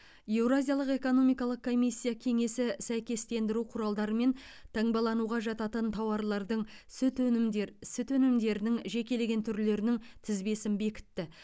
еуразиялық экономикалық комиссия кеңесі сәйкестендіру құралдарымен таңбалануға жататын тауарлардың сүт өнімдер сүт өнімдерінің жекелеген түрлерінің тізбесін бекітті